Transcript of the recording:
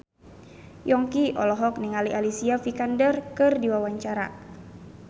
Yongki olohok ningali Alicia Vikander keur diwawancara